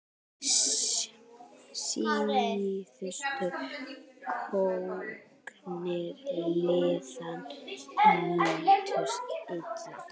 Síðustu sóknir liðanna nýttust illa.